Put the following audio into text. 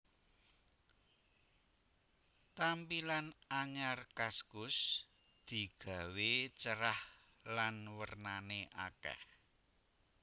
Tampilan anyar kaskus digawe cerah lan wernane akeh